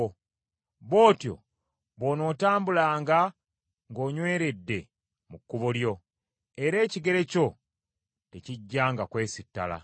Bw’otyo bw’onootambulanga nga onyweredde mu kkubo lyo, era ekigere kyo tekijjanga kwesittala.